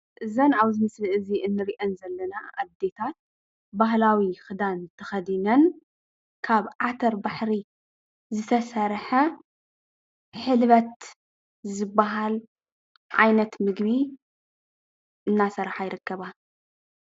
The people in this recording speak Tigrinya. እዘን ኣብዚ ምስሊ እዚ ንሪአን ዘለና ኣዴታት ባህላዊ ክዳን ተኸዲነን ካብ ዓተር ባሕሪ ዝተሰርሐ ሕልበት ዝበሃል ዓይነት ምግቢ እናሰረሓ ይርከባ።